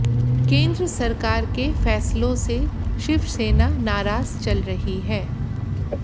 केंद्र सरकार के फैसलों से शिवसेना नाराज चल रही है